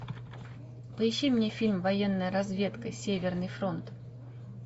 поищи мне фильм военная разведка северный фронт